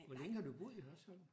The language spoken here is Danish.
Hvor længe har du boet i Hørsholm